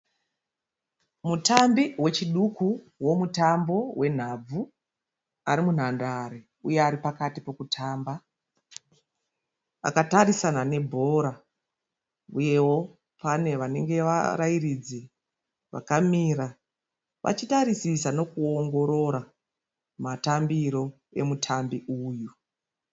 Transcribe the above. Mutambi wechiduku womutambo wenhabvu, Ari mundare uye aripakati pekutamba. Akatarisana nembora uyewo pane vanenge varairidzi vakamira vachitarisisa nekuongorora matambiro emutambi uyu.